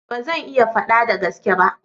Ba zan iya fada da gaske ba.